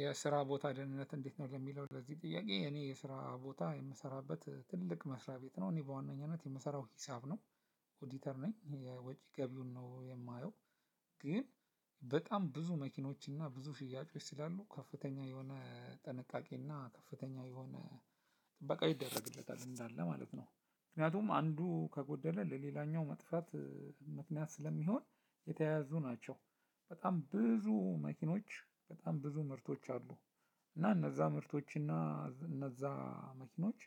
የስራቦታ ደህንነት እንዴት? ነው ለሚለው ለዚህ ጥያቄ እኔ የስራ ቦታ የምሰራበት ትልቅ መስሪያ ቤት ነው እኔ በዋነኝነት የምሰራው ሂሳብ ነው። ኦዲተር ነኝ ይሄ ወጪ ገቢውን ነው የማየው። ግን በጣም ብዙ መኪኖችና ብዙ ሽያጮች ስላሉ ከፍተኛ የሆነ ጥንቃቄና ከፍተኛ የሆነ ጥበቃው ይደረግለታል እንዳለ ማለት ነው። ምክንያቱም አንዱ ከጎደለ ለሌላኛው መጥፋት ምክንያት ስለሚሆን የተያያዙ ናቸው። በጣም ብዙ መኪኖች በጣም ብዙ ምርቶች አሉ። እና እነዛ ምርቶች እና እነዛ መኪኖች